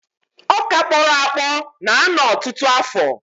Ọkà kpọrọ akpọ na-anọ ọtụtụ afọ.